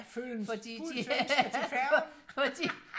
følg en fuld svensker til færgen